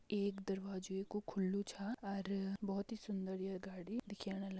एक दरवाजे को खुलू छा और बहुत ही सुन्दर ये गाडी दिख्याणा लाग्यां --